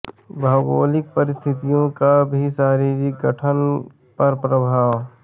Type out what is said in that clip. भौगोलिक परिस्थितियों का भी शारीरिक गठन पर प्रभाव